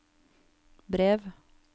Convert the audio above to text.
brev